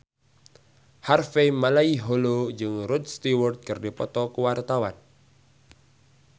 Harvey Malaiholo jeung Rod Stewart keur dipoto ku wartawan